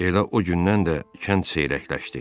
Elə o gündən də kənd seyrəkləşdi.